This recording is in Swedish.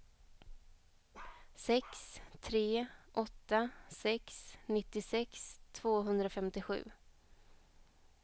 sex tre åtta sex nittiosex tvåhundrafemtiosju